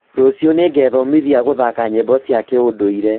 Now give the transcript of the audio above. Rũciũ nĩngethomithia gũthaka nyĩmbo cia kĩũndũire